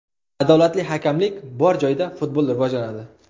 Adolatli hakamlik bor joyda futbol rivojlanadi.